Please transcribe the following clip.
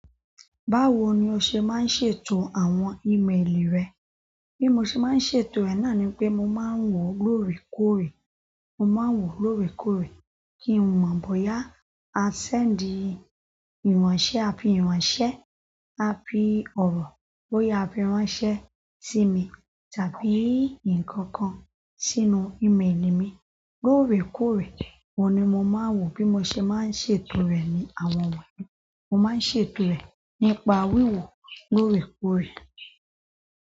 Báwo ni o ṣe máa ń ṣètò àwọn ímeèlì rẹ? Bí mo ṣe máa ń ṣètò rẹ̀ náà ni pé mo máa ń wò lóòrèkóòrè. Mo máa ń wò lóòrèkóòrè kí n mọ̀ bóyá a ṣẹ́ndì ìránṣẹ́ àbí ìránṣẹ́, àbí ọ̀rọ̀, bóyá a fi ránṣẹ́ sí mi tàbí nǹkan kan sínú ímeèlì mi. Lóòrèkóòrè oun ni mo máa ń wò bí mo ṣe máa ń ṣètò rẹ̀ ni àwọn wọ̀nyí. Mo máa ń ṣètò rẹ̀ nípa wíwò lóòrèkóòrè.